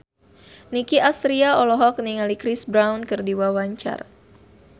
Nicky Astria olohok ningali Chris Brown keur diwawancara